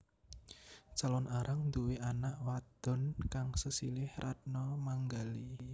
Calon Arang nduwé anak wadhon kang sesilih Ratna Manggali